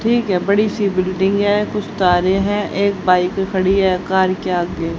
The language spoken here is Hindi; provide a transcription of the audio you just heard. ठीक है बड़ी सी बिल्डिंग है कुछ तारे हैं एक बाइक खड़ी है कार के आगे--